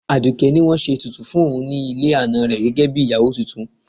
Aduke ní wọ́n ṣe ètùtù fún òun ní ilé ana rẹ̀ gẹ́gẹ́ bí ìyàwó tuntun.